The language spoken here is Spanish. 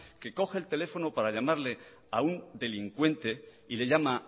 que coge el teléfono para llamarle a un delincuente y le llama